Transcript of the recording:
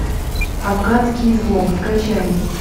афганский излом скачай